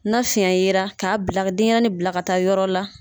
Na fiyɛn yera k'a bila ka denɲɛrɛnin bila ka taa yɔrɔ la